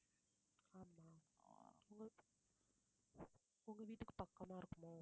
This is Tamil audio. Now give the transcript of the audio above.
ஆமாம் உங்க வீட்டுக்கு பக்கமா இருக்குமோ